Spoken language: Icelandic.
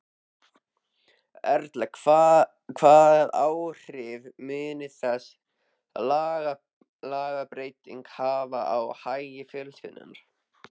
Erla, hvað áhrif mun þessi lagabreyting hafa á hagi fjölskyldunnar?